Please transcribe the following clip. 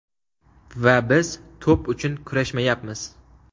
Va biz to‘p uchun kurashmayapmiz.